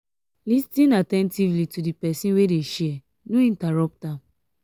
lis ten actively to di person wey dey share no interrupt am